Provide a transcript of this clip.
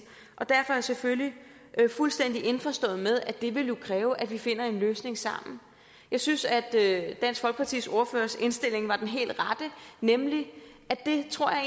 derfor er jeg selvfølgelig fuldstændig indforstået med at det jo ville kræve at vi finder en løsning sammen jeg synes at dansk folkepartis ordførers indstilling var den helt rette nemlig at det tror jeg